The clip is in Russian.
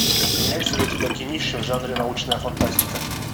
имеется ли у тебя кинище в жанре научная фантастика